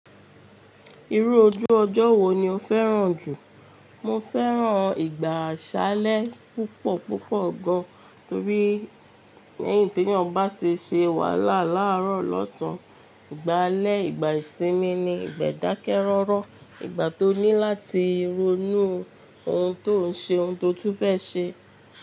Irú ojú ọjọ́ wo ni o fẹ́ràn jù? Mo fẹ́ràn ìgbà àsálẹ́ púpọ̀ púpọ̀ gan, torí lẹ́yìn teeyan bati ṣe wàhálà láàárọ̀ lọ́sàn-án, ìgbà alẹ́, ìgbà ìsinmi ni, ìgbà idákẹ́ rọ́rọ́, ìgbà tó ní láti ronú ohun tó ń ṣe ohun tó tún fẹ́ ṣe.